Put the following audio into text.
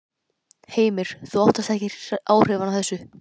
Heimir: Óttast þú ekki áhrifin af þessu?